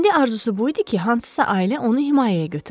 İndi arzusu bu idi ki, hansısa ailə onu himayəyə götürsün.